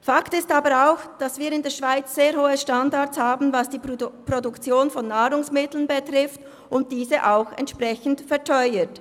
Fakt ist aber auch, dass wir in der Schweiz sehr hohe Standards haben, was die Produktion von Nahrungsmitteln betrifft, und diese auch entsprechend verteuert.